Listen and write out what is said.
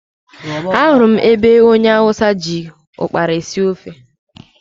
Ahụrụ m ebe onye hausa ji ụkpara esi ofe.